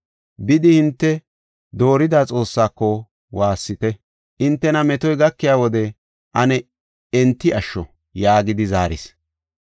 Bidi hinte doorida xoossaako waassite. Hintena metoy gakiya wode ane enti asho” yaagidi zaaris.